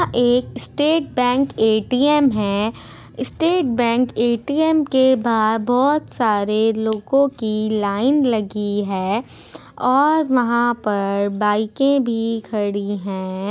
यहाँ एक state bank A T M है। स्टेट बैंक एटीएम के बाहर बहुत सारे लोगों की लाइन लगी है और वहा पर बाइके भी खड़ी है।